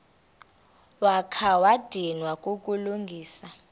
wakha wadinwa kukulungisa